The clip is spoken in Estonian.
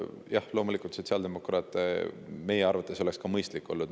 Jah, loomulikult oleks see ka sotsiaaldemokraatide arvates mõistlik olnud.